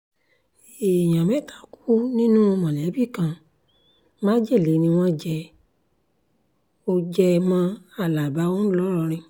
èèyàn mẹ́ta kú nínú mọ̀lẹ́bí kan májèlé ni wọ́n jẹ mọ́ jẹ mọ́ alábà ńlọrọrìn